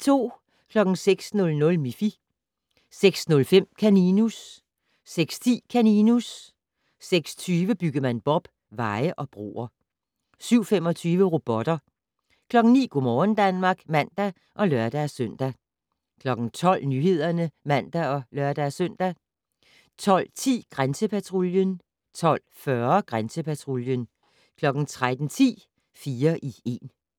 06:00: Miffy 06:05: Kaninus 06:10: Kaninus 06:20: Byggemand Bob: Veje og broer 07:25: Robotter 09:00: Go' morgen Danmark (man og lør-søn) 12:00: Nyhederne (man og lør-søn) 12:10: Grænsepatruljen 12:40: Grænsepatruljen 13:10: Fire i én